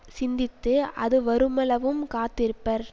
சிந்தித்து அது வருமளவும் காத்திருப்பர்